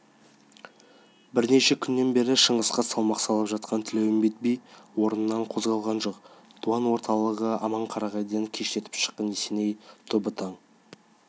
бірнеше күннен бері шыңғысқа салмақ салып жатқан тілеуімбет би орнынан да қозғалған жоқ дуан орталығы аманқарағайдан кештетіп шыққан есеней тобы таң